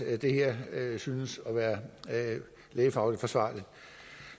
at det her synes at være lægefagligt forsvarligt